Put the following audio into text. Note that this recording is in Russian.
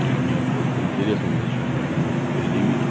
мне вот просто интересно за что они могут предьявить